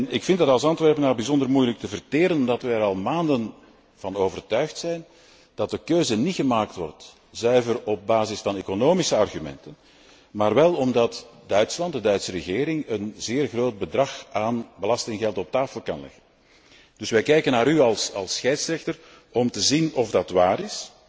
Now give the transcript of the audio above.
Ik vind het als Antwerpenaar bijzonder moeilijk te verteren dat we er al maanden van overtuigd zijn dat de keuze niet gemaakt wordt zuiver op basis van economische argumenten, maar wel omdat Duitsland, de Duitse regering, een zeer groot bedrag aan belastinggeld op tafel kan leggen. Dus we kijken naar u als scheidsrechter, om te zien of dat waar is